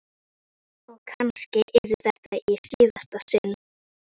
Og kannski yrði þetta í síðasta sinn.